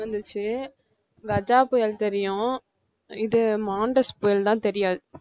வந்துச்சு கஜா புயல் தெரியும் இது மான்டெஸ் புயல் தான் தெரியாது